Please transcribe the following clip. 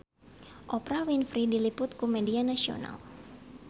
Oprah Winfrey diliput ku media nasional